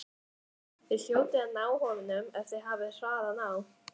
Þið hljótið að ná honum ef þið hafið hraðan á.